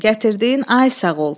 Gətirdiyin, ay sağ ol!